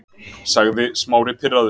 sagði Smári pirraður.